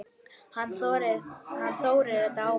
Hann Þórir er dáinn